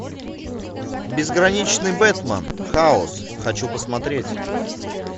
безграничный бэтмен хаос хочу посмотреть